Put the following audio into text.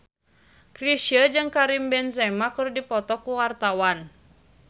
Chrisye jeung Karim Benzema keur dipoto ku wartawan